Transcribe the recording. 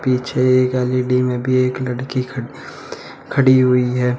पीछे एक एल_इ_डी में भी एक लड़की ख खड़ी हुई है।